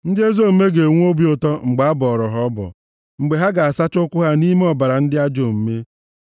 Ndị ezi omume ga-enwe obi ụtọ mgbe a bọọrọ ha ọbọ, mgbe ha ga-asacha ụkwụ ha nʼime ọbara ndị ajọ omume.